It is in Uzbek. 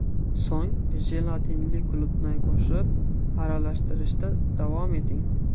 So‘ng jelatinli qulupnayni qo‘shib, aralashtirishda davom eting.